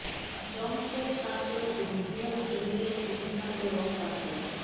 রং কিভাবে কাজ করে এবং কিভাবে কেমিক্যালস অগ্নিকাণ্ড রং কাজ করে